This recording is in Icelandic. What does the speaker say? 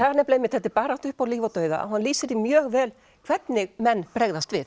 þetta er barátta upp á líf og dauða og hann lýsir því mjög vel hvernig menn bregðast við